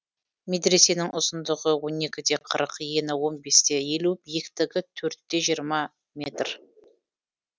медресенің ұзындығы он екі де қырық ені он бес те елу биіктігі төрт те жиырма метр